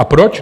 A proč?